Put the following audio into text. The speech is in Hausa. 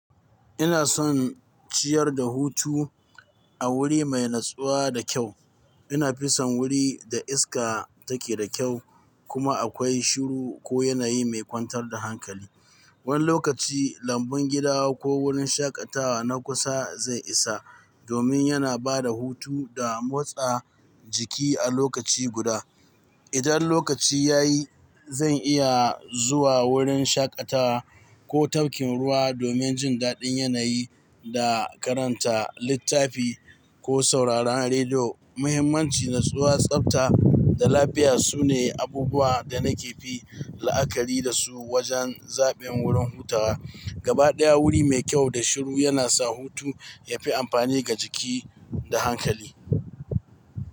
Ina son ciyar da hutu a wuri mai natsuwa da kyau. Ina fison wuri da iska take da kyau kuma akwai shiru ko yanayi mai kwantar da hankali. Wani lokaci lambun gida ko wurin shaƙatawa na kusa zai isa, domin yana ba da hutu da motsa jiki a lokaci guda. Idan lokaci ya yi, zan iya zuwa wurin shaƙatawa ko tafkin ruwa domin jin daɗin yanayi da karanta littafi ko sauraron rediyo. Muhimmanci, natsuwa, tsafta da lafiya sune abubuwan da nake fi la'akari da su wajen zaɓin wurin hutawa. Gabaɗaya wuri mai kyau da shiru yana sa hutu yafi amfani ga jiki da hankali.